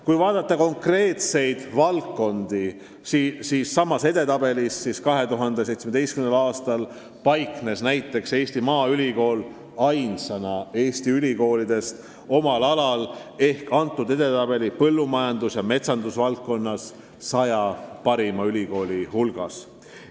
Kui vaadata konkreetseid valdkondi samas edetabelis, siis 2017. aastal paiknes Eesti Maaülikool ainsana Eesti ülikoolidest omal alal ehk põllumajandus- ja metsandusvaldkonnas 100 parima ülikooli hulgas.